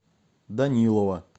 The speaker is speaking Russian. данилова